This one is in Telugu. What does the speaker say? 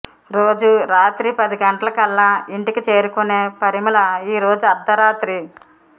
రోజూ రాత్రి పది గంటలకల్లా ఇంటికి చేరుకునే పరిమళ ఈ రోజు అర్ధరాత్రి